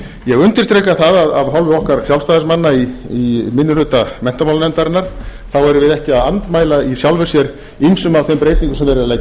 ég undirstrika það af hálfu okkar sjálfstæðismanna í minni hluta menntamálanefndarinnar þá værum við ekki að andmæla í sjálfu sér ýmsum af þeim breytingum sem verið er að leggja til